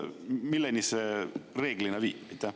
Milleni see reeglina viib?